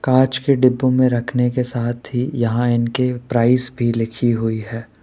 कांच के डिब्बो में रखने के साथ ही यहां इनके प्राइस भी लिखी हुई है।